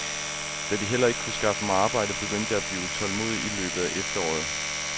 Da de heller ikke kunne skaffe mig arbejde, begyndte jeg at blive utålmodig i løbet af efteråret.